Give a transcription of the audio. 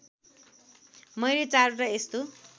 मैले चारवटा यस्तो